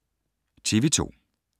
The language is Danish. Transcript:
TV 2